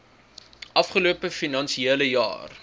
afgelope finansiële jaar